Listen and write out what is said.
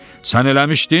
Sən eləmişdin?